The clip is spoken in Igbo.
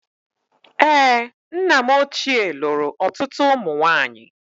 Èé, nna m ochie lụrụ ọtụtụ ụmụ nwaanyị.